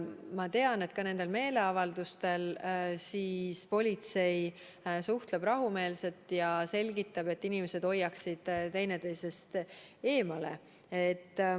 Ma tean, et ka nendel meeleavaldustel politsei suhtleb rahumeelselt ja selgitab, et inimesed hoiaksid teineteisest eemale.